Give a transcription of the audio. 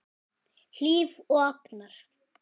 Hlíf og Agnar.